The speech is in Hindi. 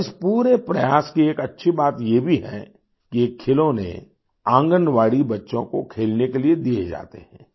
और इस पूरे प्रयास की एक अच्छी बात ये भी है कि ये खिलौने आंगनबाड़ी बच्चों को खेलने के लिए दिए जाते हैं